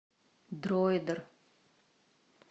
дройдер